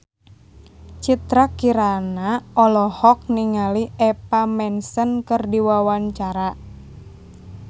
Citra Kirana olohok ningali Eva Mendes keur diwawancara